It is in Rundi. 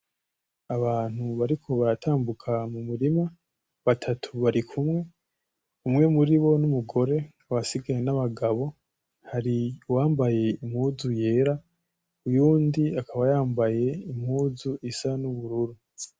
Abantu bariko baratambuka mumurima, batatu barikumwe umwe muribo n'umugore abandi nabagabo hari uwambaye impuzu yera uyundi akaba yambaye impuzu isa nubururu